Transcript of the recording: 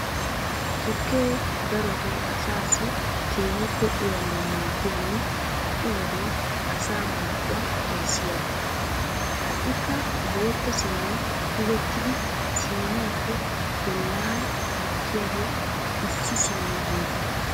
Tukke darotoo asaassi keehippe uyanawu maaddiyanne ha"i wodiyan asaa marccuwa xayssiyaba. Ha"ikka bootta siiniyan tigettidi siiniyappe bollaara gukkiyagee issi siine gida